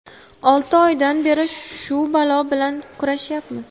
Olti oydan beri shu balo bilan kurashyapmiz.